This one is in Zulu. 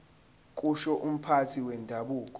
kusho umphathi wendabuko